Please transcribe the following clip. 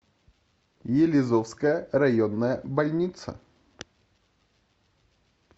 елизовская районная больница